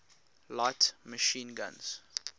light machine guns